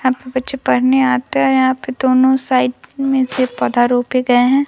यहाँ पे बच्चे पढ़ने आते है और यहाँ पे दोनों साइड में से पौधा रोपे गए हैं।